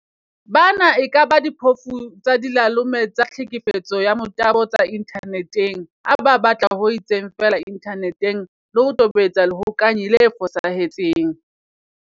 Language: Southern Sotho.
Bana e kaba diphofu tsa dilalome tsa tlhekefetso ka motabo tsa inthane teng ha ba batla ho itseng feela inthaneteng le ho tobetsa lehokanyi le fosahetseng.